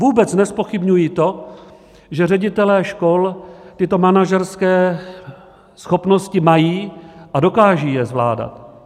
Vůbec nezpochybňuji to, že ředitelé škol tyto manažerské schopnosti mají a dokážou je zvládat.